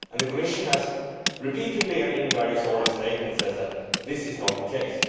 The Commission has repeatedly said in various oral statements that this is not the case.